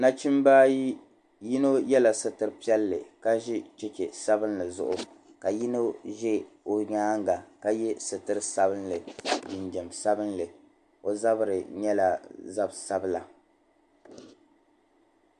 Nachimba ayi yino yɛla sitir' sabilinli ka ʒi cheche sabilinli zuɣu ka yino za o nyaaŋga ka ye sitir' sabilinli jinjam sabilinli. O zabiri nyɛla zab' sabila.